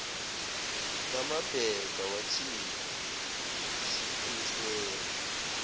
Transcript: ngamabheka wathinta isikhwehlela